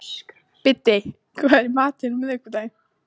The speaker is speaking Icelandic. Biddi, hvað er í matinn á miðvikudaginn?